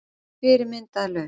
Fyrirmynd að lausn